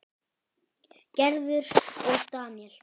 Gerður og Daníel.